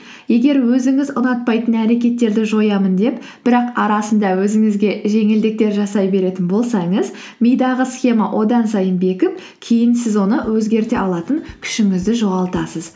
егер өзіңіз ұнатпайтын әрекеттерді жоямын деп бірақ арасында өзіңізге жеңілдіктер жасай беретін болсаңыз мидағы схема одан сайын бекіп кейін сіз оны өзгерте алатын күшіңізді жоғалтасыз